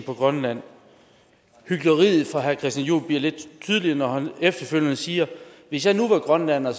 på grønland hykleriet fra herre christian juhl bliver lidt tydeligere når han efterfølgende siger hvis jeg nu var grønlænder